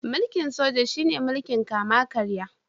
Mulkin Soja shi ne mulkin kama karya.